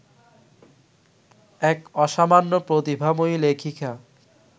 এক অসামান্য প্রতিভাময়ী লেখিকা